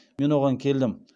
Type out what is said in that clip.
мен оған келдім